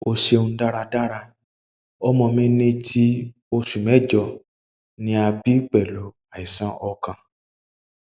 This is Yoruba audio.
o ṣeun daradara ọmọ mi ti oṣu mẹjọ ni a bi pẹlu aisan ọkàn